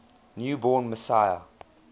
new born messiah